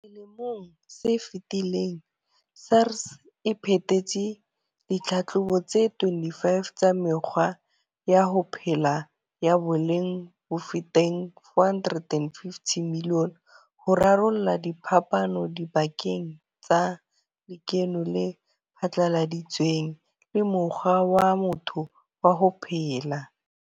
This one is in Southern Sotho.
Selemong se fetileng, SARS e phethetse ditlhatlhobo tse 25 tsa mekgwa ya ho phela ya boleng bofetang R450 milione ho rarolla diphapano dipakeng tsa lekeno le phatlaladitsweng le mokgwa wa motho wa ho phela.